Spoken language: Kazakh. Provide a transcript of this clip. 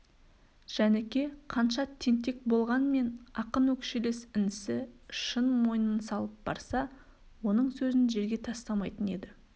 жәніке қанша тентек болғанмен ақын өкшелес інісі шын мойнын салып барса оның сөзін жерге тастамайтын еді